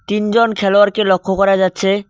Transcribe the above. তিনজন খেলোয়াড়কে লক্ষ করা যাচ্ছে।